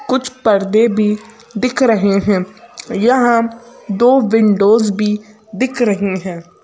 कुछ पर्दे भी दिख रहे हैं यहां दो विंडोज भी दिख रही हैं।